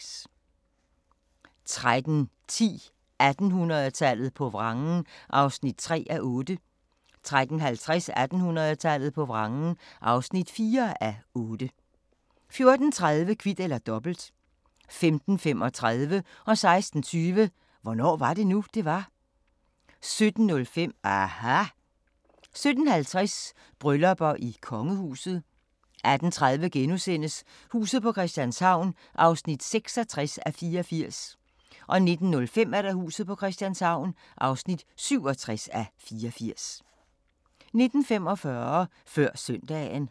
13:10: 1800-tallet på vrangen (3:8) 13:50: 1800-tallet på vrangen (4:8) 14:30: Kvit eller Dobbelt 15:35: Hvornår var det nu, det var? 16:20: Hvornår var det nu, det var? 17:05: aHA! 17:50: Bryllupper i kongehuset 18:30: Huset på Christianshavn (66:84)* 19:05: Huset på Christianshavn (67:84) 19:45: Før søndagen